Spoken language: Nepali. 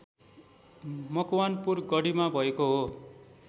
मकवानपुर गढीमा भएको हो